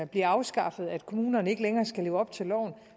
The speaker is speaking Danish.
bliver afskaffet at kommunerne ikke længere skal leve op til loven